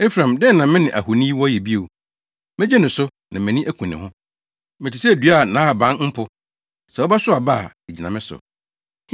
Efraim dɛn na me ne ahoni wɔ yɛ bio? Megye no so na mʼani aku ne ho. Mete sɛ dua a nʼahaban mpo; sɛ wobɛsow aba a, egyina me so.”